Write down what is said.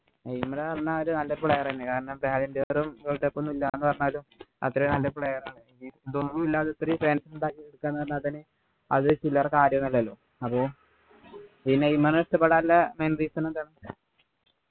Neymar പറഞ്ഞാ ഒരു നല്ല player എന്നെ കാരണം world cup ഉം ഒന്നും ഇല്ല ന്നു പറഞ്ഞാലും അത്രേം നല്ല player ആണ് ഇതൊന്നും ഇല്ലാതെ ഇത്രേം fans ഉണ്ടാക്കി എടുക്കാ ന്നു പറഞ്ഞാ തന്നെ അത് ചില്ലറ കാര്യമൊന്നും അല്ലല്ലോ അപ്പൊ ഈ നെയ്മറെ ഇഷ്ടപ്പെടാനുള്ള reason എന്താണ്